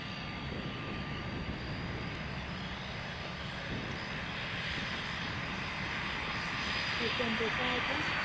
Tuition જતા હતા?